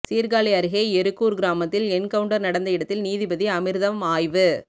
சீர்காழி அருகே எருக்கூர் கிராமத்தில் என்கவுண்டர் நடந்த இடத்தில நீதிபதி அமிர்தம் ஆய்வு